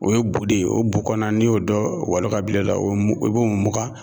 O ye bu de ye, o bu kɔnɔna n'i y'o dɔ walo k'a bila i da , i b'o mugan